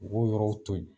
U b'o yɔrɔw to yen